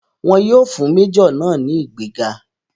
Wọn yóò fún méjọ̀ náà ní ìgbéga.